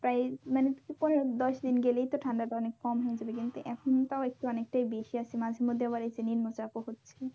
প্রায় মানে পনেরো দশ দিন গেলেই তো ঠান্ডা টা অনেক কম হয়ে যাবে কিন্তু এখন তাও একটু অনেকটাই বেশি আছে মাঝের মধ্যে আবার নিম্ন চাপ ও হচ্ছে।